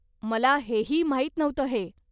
मला हेही माहीत नव्हतं हे.